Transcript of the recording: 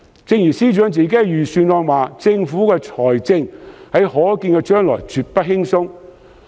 正如司長在預算案指出，政府的財政狀況在可見將來絕不輕鬆。